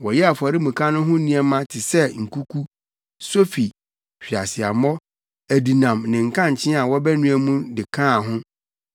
Wɔyɛɛ afɔremuka no ho nneɛma te sɛ nkuku, sofi, hweaseammɔ, adinam ne nkankyee a wɔbɛnoa mu de kaa ho.